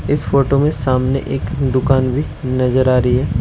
इस फोटो में सामने एक दुकान भी नजर आ रही है।